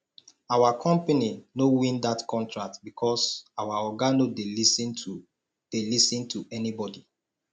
our company no win dat contract because our oga no dey lis ten to dey lis ten to anybodi